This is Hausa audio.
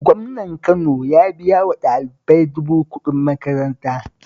Gwamnan Kano ya biya wa ɗalibai dubu kuɗin makaranta